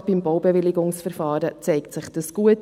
Gerade beim Baubewilligungsverfahren zeigt sich dies gut.